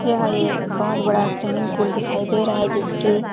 यह एक बहुत बड़ा स्विमिंग पूल दिखाई दे रहा है जिसके--